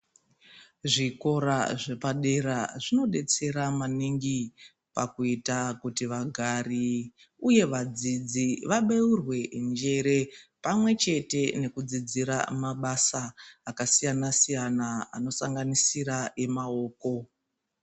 Zvikora zvepadera zvinodetsera maningi pakuita kuti vagari uye vadzidzi Vabeurwe njere pamwechete nekudzidzira mabasa akasiyana-siyana anosanganisira emaoko.